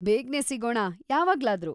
ಬೇಗ್ನೇ ಸಿಗೋಣ ಯಾವಾಗ್ಲಾದ್ರೂ.